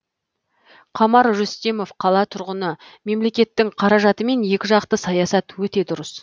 қамар рүстемов қала тұрғыны мемлекеттің қаражатымен екі жақты саясат өте дұрыс